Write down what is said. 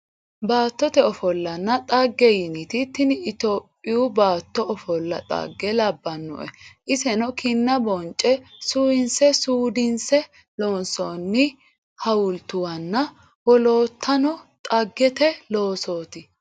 Baattote ofollanna dhagge yiniti tini tophiyu baatto ofolla dhagge labbanoe iseno kinna bonce suuwinse suudinse loonsonni hawultuwanna woloottano dhaggete loosoti.